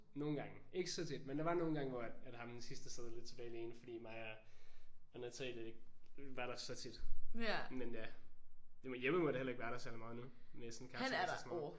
Nogle gange. Ikke så tit men der var nogle gange hvor at ham den sidste sad lidt tilbage alene fordi mig og Natalie ikke var der så tit. Men øh Jeppe må da heller ikke være der så meget nu? Med sådan kapsejlads og sådan noget?